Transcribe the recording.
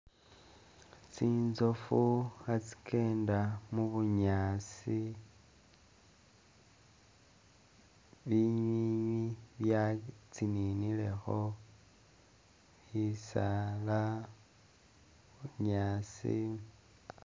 Tsitsoofu khatsi'kenda mubunyaasi, binywinywi bya tsininilekho, shisaala, bunyaasi